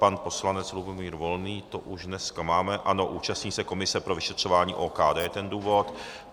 Pan poslanec Lubomír Volný, to už dneska máme, ano, účastní se komise pro vyšetřování OKD, ten důvod.